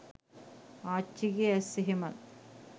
ආච්චිගෙ ඇස් එහෙමත්